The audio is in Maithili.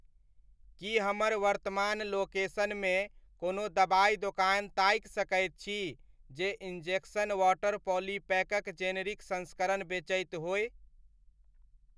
की हमर वर्तमान लोकेशनमे कोनो दबाइ दोकान ताकि सकैत छी जे इंजेक्शन वॉटर पॉलीपैकक जेनेरिक संस्करण बेचैत होय ?